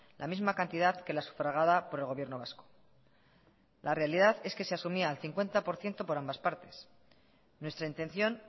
la misma cantidad que la sufragada por el gobierno vasco la realidad es que se asumía al cincuenta por ciento por ambas partes nuestra intención